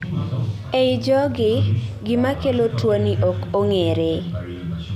ei jogi, gima kelo tuoni ok ong'ere